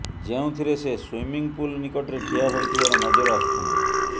ଯେଉଁଥିରେ ସେ swimming pool ନିକଟରେ ଠିଆ ହୋଇଥିବାର ନଜର ଆସୁଛନ୍ତି